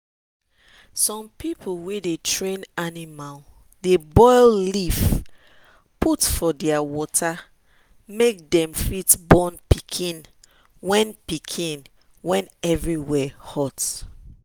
some people wey dey train animal dey boil leaf put for their water make dem fit born pikin when pikin when everywhere hot.